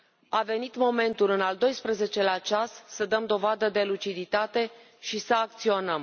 A venit momentul, în al doisprezecelea ceas, să dăm dovadă de luciditate și să acționăm.